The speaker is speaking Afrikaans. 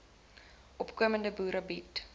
opkomende boere biede